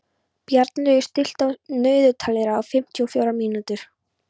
Bjarnlaugur, stilltu niðurteljara á fimmtíu og fjórar mínútur.